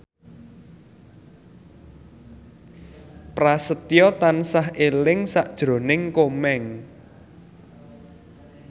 Prasetyo tansah eling sakjroning Komeng